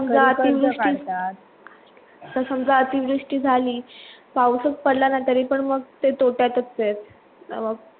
समजा अतिवृष्टी समजा अतिवृष्टी झाली पाऊस पडला नाही तरी पण मग ते तोट्यातच आहेत